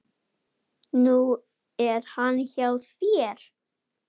Nú er hann hjá þér.